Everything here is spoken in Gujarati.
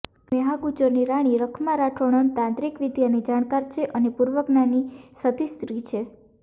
મેહા ગુજોરની રાણી રખમા રાઠોડણ તાંત્રિક વિદ્યાની જાણકાર છે અને પૂર્વજ્ઞાની સતી સ્ત્રી છે